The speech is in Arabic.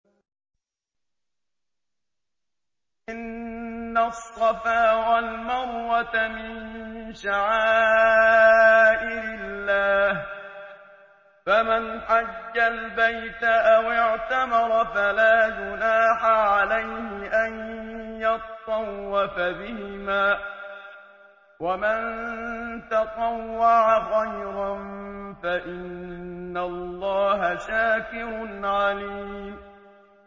۞ إِنَّ الصَّفَا وَالْمَرْوَةَ مِن شَعَائِرِ اللَّهِ ۖ فَمَنْ حَجَّ الْبَيْتَ أَوِ اعْتَمَرَ فَلَا جُنَاحَ عَلَيْهِ أَن يَطَّوَّفَ بِهِمَا ۚ وَمَن تَطَوَّعَ خَيْرًا فَإِنَّ اللَّهَ شَاكِرٌ عَلِيمٌ